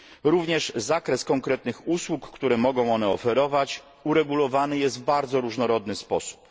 Również zakres konkretnych usług, które mogą one oferować, uregulowany jest w bardzo różnorodny sposób.